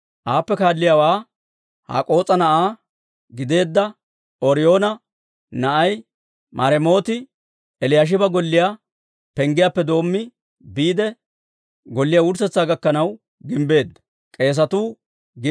Aappe kaalliyaawaa Hak'k'oos'a na'aa gideedda Ooriyoona na'ay Maremooti Eliyaashiba golliyaa penggiyaappe doommi, biide golliyaa wurssetsaa gakkanaw gimbbeedda.